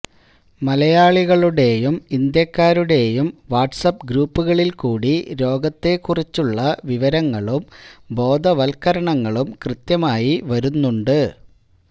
മലയാളികളുടെയും ഇന്ത്യാക്കാരുടെയും വാട്സ്അപ്പ് ഗ്രൂപ്പുകളില് കൂടി രോഗത്തെക്കുറിച്ചുള്ള വിവരങ്ങളും ബോധവത്ക്കരണങ്ങളും കൃത്യമായി വരുന്നുണ്ട്